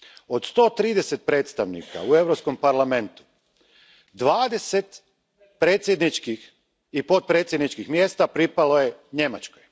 Od sto trideset predstavnika u Europskom parlamentu, dvadeset predsjedničkih i potpredsjedničkih mjesta pripalo je Njemačkoj.